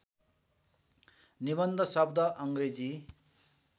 निबन्ध शब्द अङ्ग्रेजी